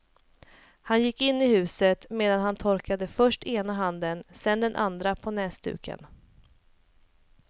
Han gick in i huset medan han torkade först ena handen och sedan den andra på näsduken.